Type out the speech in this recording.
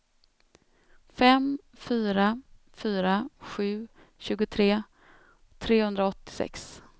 fem fyra fyra sju tjugotre trehundraåttiosex